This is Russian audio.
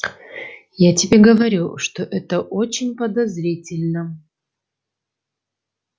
я тебе говорю что это очень подозрительно